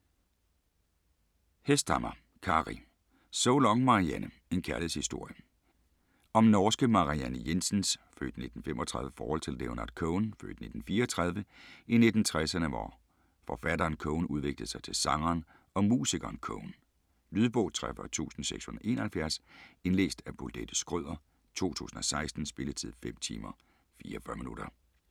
Hesthamar, Kari: So long, Marianne: en kærlighedshistorie Om norske Marianne Jensens (f. 1935) forhold til Leonard Cohen (f. 1934) i 1960'erne hvor forfatteren Cohen udviklede sig til sangeren og musikeren Cohen. Lydbog 43671 Indlæst af Bolette Schrøder, 2016. Spilletid: 5 timer, 44 minutter.